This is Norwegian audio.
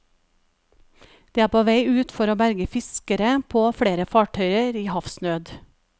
De er på vei ut for å berge fiskere på flere fartøyer i havsnød.